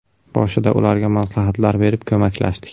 Boshida ularga maslahatlar berib, ko‘maklashdik.